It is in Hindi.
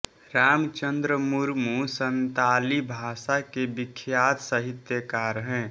रामचंद्र मुर्मू संताली भाषा के विख्यात साहित्यकार हैं